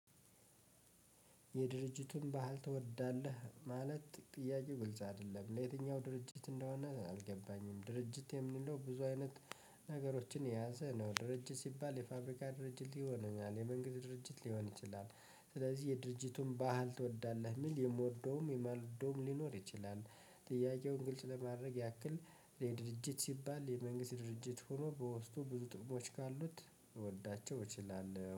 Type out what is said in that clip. የየትኛውን ባህል ትወዳለህ ማለት ጥያቄው ግልጽ አይደለም ለየትኛው ድርጅት እንደሆነ አልገባኝም ድርጅት የምንለው ብዙ አይነት ነገሮችን የያዘ ነው። ድርጅት ሲባል የፋብሪካ ድርጅት ሊሆን ይችላል የመንግስት ድርጅት ሊሆን ይችላል። ስለዚህ የድርጅቱን ባህል ትወዳለህ የሚል የምወደውም የማልወደውም ሊኖር ይችላል። ጥያቄውን ግልጽ ለማድረግ ያክል ድርጅት ሲባል የመንግስት ድርጅት ሆኖ በውስጡ ብዙ ጥቅሞች ካሉት ልወዳቸው እችላለሁ